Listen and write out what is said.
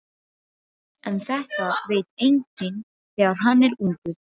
En þetta veit enginn þegar hann er ungur.